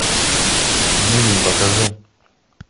бивень покажи